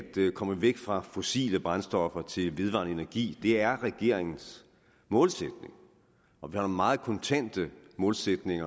komme væk fra fossile brændstoffer og over til vedvarende energi er regeringens målsætning og vi har en meget kontant målsætning